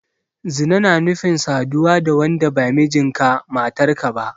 Zina na nufin saduwa da wanda ba mijinka/matarka ba.